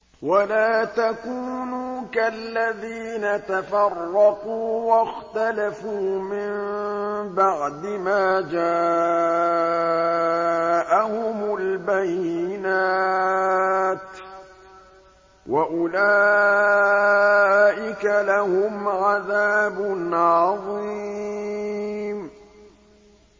وَلَا تَكُونُوا كَالَّذِينَ تَفَرَّقُوا وَاخْتَلَفُوا مِن بَعْدِ مَا جَاءَهُمُ الْبَيِّنَاتُ ۚ وَأُولَٰئِكَ لَهُمْ عَذَابٌ عَظِيمٌ